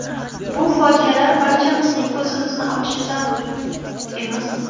Bu fojialar barchamizning ko‘zimizni ochishi zarur emasmi?